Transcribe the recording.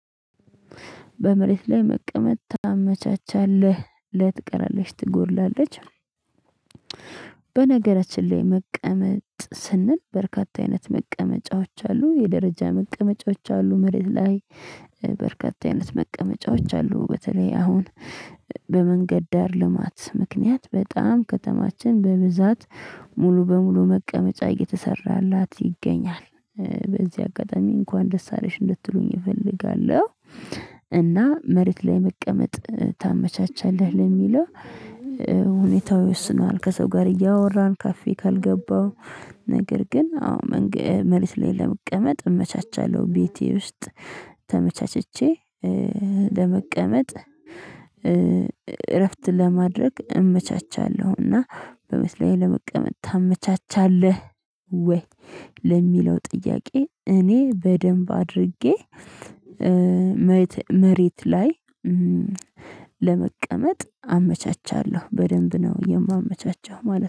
በመሬት ላይ መቀመጥ ታመቻቻለህ ለትቀራለች ትጎድላለች። በነገራችን ላይ መቀመጥ ስንል በርካታ አይነት መቀመጫዎች አሉ የደረጃ መቀመጫዎች አሉ መሬት ላይ። በርካታ አይነት መቀመጫዎች አሉ በተለይ አሁን በመንገድ ዳር ልማት ምክንያት በጣም ከተማችን በብዛት ሙሉ በሙሉ መቀመጫ እየተሰራላት ይገኛል። በዚህ አጋጣሚ እንኳን ደስ አለሽ እንድትሉኝ እፈልጋለሁ። እና መሬት ላይ መቀመጥ ታመቻቻለህ ለሚለው ሁኔታው ይወስነዋል ከዛው ጋር እያወራው ካፌ ካልገባው። ነገር ግን አዎ መሬት ላይ ለመቀመጥ እመቻቻለሁ። ቤቴ ውስጥ ተመቻችቼ ለመቀመጥ እረፍት ለማድረግ እመቻቻለሁ። እና መሬት ላይ ለመቀመጥ ታመቻቻለህ ወይ? ለሚለው ጥያቄ እኔ በደንብ አድርጌ መሬት ላይ ለመቀመጥ አመቻቻለሁ በደንብ ነው የማመቻቸው ማለት ነው